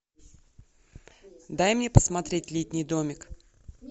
дай мне посмотреть летний домик